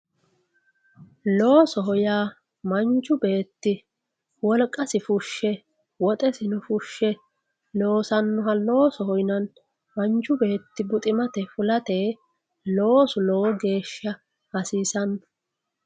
Loosoho ya manchu beti woliqasi fushi woxesino fushe losaniha loosoho yinanni manchu betti buximate fulate loosu lowo gesha hasisano